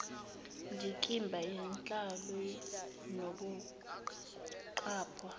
ndikimba yenhlolo nokuqaphwa